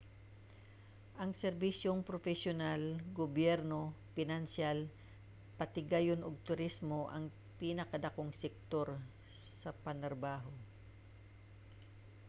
ang serbisyong propesyonal gobyerno pinansiyal patigayon ug turismo ang pinakadakong sektor sa panarbaho